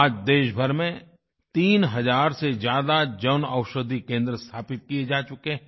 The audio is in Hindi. आज देशभर में तीन हज़ार से ज्यादा जनऔषधि केंद्र स्थापित किये जा चुके हैं